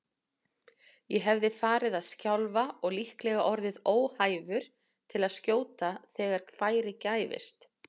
Ég hefði farið að skjálfa og líklega orðið óhæfur til að skjóta þegar færi gæfist.